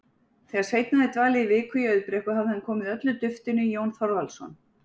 Þegar Sveinn hafði dvalið viku í Auðbrekku hafði hann komið öllu duftinu í Jón Þorvaldsson.